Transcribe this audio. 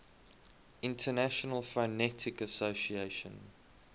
international phonetic association